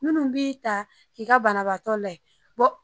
Munnu b'i ta ki ka banabaatɔ la